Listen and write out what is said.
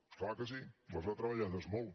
és clar que sí les ha treballades molt